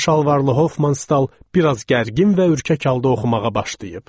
Qısa şalvarlı Hofmanstal bir az gərgin və ürkək halda oxumağa başlayıb.